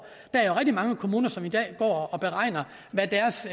der er jo mange kommuner som i dag går og beregner hvad deres